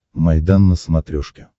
майдан на смотрешке